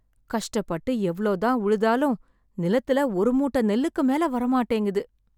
கஷ்டப்பட்டு எவ்ளோ தான் உழுதாலும் , நிலத்துல ஒரு மூட்டை நெல்லுக்கு மேல வர மாட்டேங்குது.